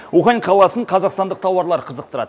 ухань қаласын қазақстандық тауардар қызықтырады